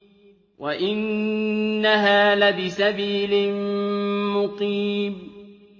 وَإِنَّهَا لَبِسَبِيلٍ مُّقِيمٍ